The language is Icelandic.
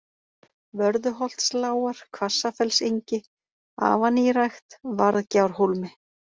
Vörðuholtslágar, Hvassafellsengi, Afanýrækt, Varðgjárhólmi